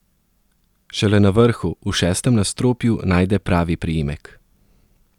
Šele na vrhu, v šestem nadstropju, najde pravi priimek.